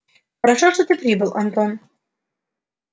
хорошо что ты прибыл антон